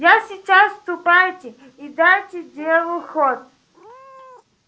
я сейчас ступайте и дайте делу ход